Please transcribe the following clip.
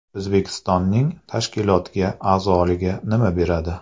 O‘zbekistonning tashkilotga a’zoligi nima beradi?.